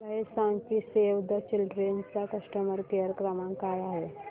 मला हे सांग की सेव्ह द चिल्ड्रेन चा कस्टमर केअर क्रमांक काय आहे